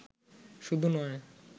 শুধু নয়